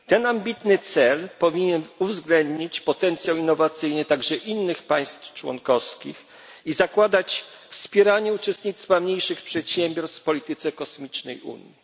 Ten ambitny cel powinien uwzględnić potencjał innowacyjny także innych państw członkowskich i zakładać wspieranie uczestnictwa mniejszych przedsiębiorstw w polityce kosmicznej Unii.